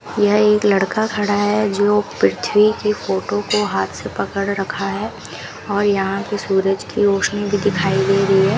यह एक लड़का खड़ा है जो पृथ्वी की फोटो को हाथ से पकड़ रखा है और यहां पे सूरज की रोशनी भी दिखाई दे रही है।